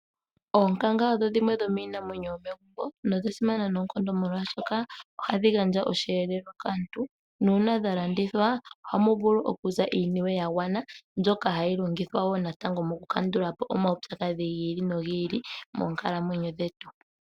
Oonkanga odhasimana noonkondo oshoka ohadhi gandja oshiyelelwa kaantu, nuuna dhalandithwa ohamu vulu okuza iiniwe yagwana mbyoka hayi longithwa mokukandula po omaupyakadhi gi ili nogi ili moonkalamwenyo dhaantu.